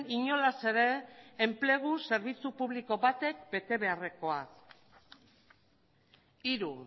inolaz ere enplegu zerbitzu publiko batek betebeharrekoa hiru